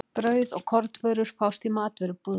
Brauð og kornvörur fást í matvörubúðinni.